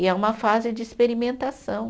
E é uma fase de experimentação.